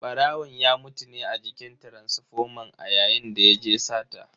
Barawon ya mutu ne a jikin taransifoman a yayin da yaje sata.